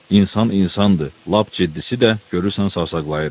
İnsan insandır, lap ciddisi də görürsən sayaqlayır.